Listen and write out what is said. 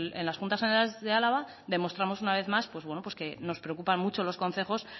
en las juntas generales de álava demostramos una vez más que nos preocupan mucho los concejos